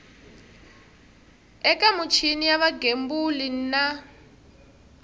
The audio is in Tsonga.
eka michini ya vugembuli na